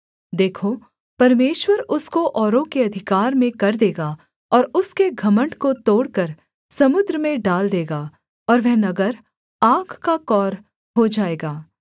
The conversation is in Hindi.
देखो परमेश्वर उसको औरों के अधिकार में कर देगा और उसके घमण्ड को तोड़कर समुद्र में डाल देगा और वह नगर आग का कौर हो जाएगा